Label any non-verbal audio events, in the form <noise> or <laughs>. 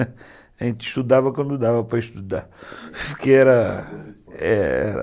<laughs> A gente estudava quando dava para estudar <laughs> porque era, é